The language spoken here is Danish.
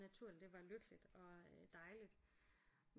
Naturligt det var lykkeligt og dejligt